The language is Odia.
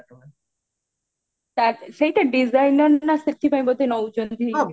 ସେଇଟା designer ନା ସେଥିପାଇଁ ବୋଧେ ନଉଚନ୍ତି